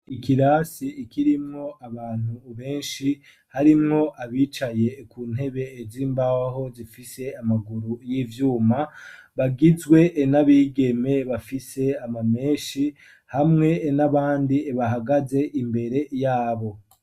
Ikirasi kirimwo abantu benshi ,harimwo abicaye ku ntebe z'imbaho zifise amaguru y'ivyuma, bagizwe n'abigeme bafise amamenshi hamwe n'abandi bahagaze imbere yabo.